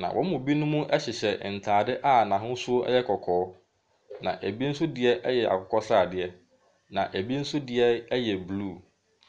Na wɔn mu bi hyehyɛ ntaare a n'ahosuo yɛ kɔɔ. Na ebi nso deɛ yɛ akokɔsradeɛ. Na ebi so deɛ yɛ blue.